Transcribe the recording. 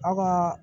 Aw ka